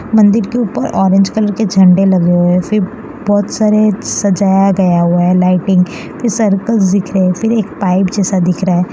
मंदिर के ऊपर ऑरेंज कलर के झंडे लगे हुए हैं फिर बहुत सारे सजाया गया हुआ है लाइटिंग की सर्कल दिख रहे फिर एक पाइप जैसा दिख रहा है।